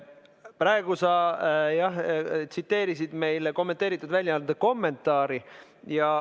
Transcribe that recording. Praegu sa tsiteerisid meile kommenteeritud väljaande kommentaari.